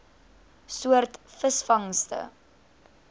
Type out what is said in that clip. soort visvangste